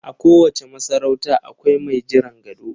A kowace masarauta akwai mai jiran gado